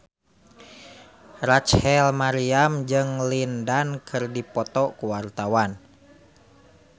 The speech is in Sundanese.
Rachel Maryam jeung Lin Dan keur dipoto ku wartawan